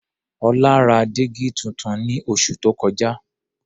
Ọlá ra dígí tuntun ní oṣù tó kọjá.